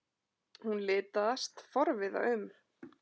Hún litast forviða um.